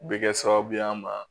U bɛ kɛ sababu ye an ma